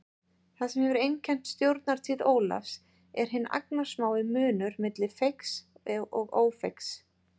Það sem hefur einkennt stjórnartíð Ólafs er hinn agnarsmái munur milli feigs og ófeigs.